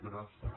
gràcies